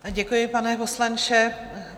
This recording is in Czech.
Děkuji, pane poslanče.